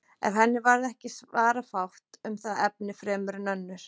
En henni varð ekki svara fátt um það efni fremur en önnur.